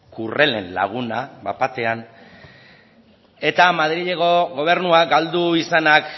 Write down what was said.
kurrelen laguna bat batean eta madrilgo gobernua galdu izanak